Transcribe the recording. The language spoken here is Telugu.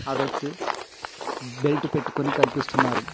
ఆ వ్యక్తి బెల్టు పెట్టుకొని కనిపిస్తున్నారు.